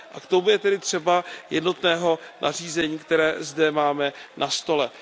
K tomu je tedy třeba jednotného nařízení, které zde máme na stole.